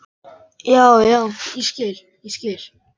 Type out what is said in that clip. Já, já, ég skil, ég skil.